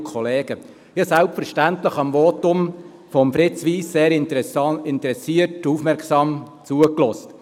Ich habe selbstverständlich dem Votum von Fritz Wyss sehr interessiert und aufmerksam zugehört.